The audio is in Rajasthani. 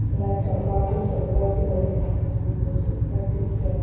लाईट और पाटो सो लगाइडो है भूरो भूरो सो कलर दिखे है।